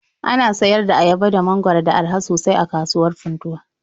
Ana sayar da ayaba da mangwaro da araha sosai a kasuwar Funtuwa.